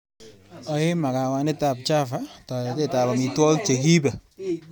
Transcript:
Ae makawanitab Java taretetap amitwogik che kiipe.